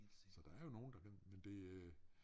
Så der er jo nogle der kan men det øh